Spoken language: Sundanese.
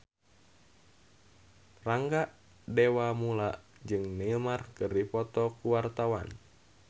Rangga Dewamoela jeung Neymar keur dipoto ku wartawan